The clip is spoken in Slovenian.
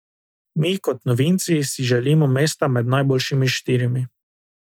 Mi kot novinci si želimo mesta med najboljšimi štirimi.